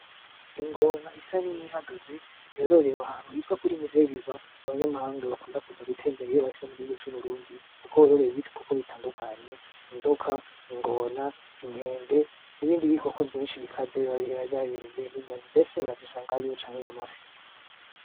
Ingona isa n'iyihagaze yororew'ahantu hitwa kuri musée vivant abanyamahanga bakunda kuza gutembera iyo bashitse mu gihugu c'uburundi kuko hororewe ibikoko bitandukanye , inzoka, ingona, inkende n'ibindi bikoko vyinshi bikaze biba vyibereyeyo n'inyoni ndetse urazisangayo, n'amafi.